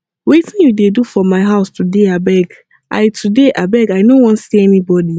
wetin you dey do for my house today abeg i today abeg i no wan see anybody